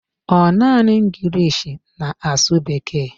Ọ naanị English na-asụ Bekee?